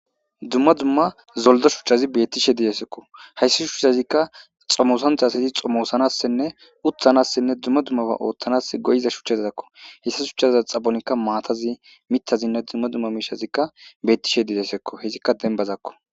dumma dumma zoldo shuchchazi bettishe didesekko hayssi shuchchazikka xomosanthas hezi xomoosanassenne uthanassenne dumma dummaba ooththanas goyiza shuchchazzakko hessa shuchchazza xabonikka maatazi mittazinne dumma dumma miishazikka bettishe didesekko hezikka denbazakko